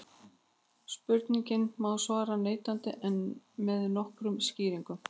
Spurningunni má svara neitandi en með nokkrum skýringum.